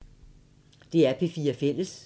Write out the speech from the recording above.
DR P4 Fælles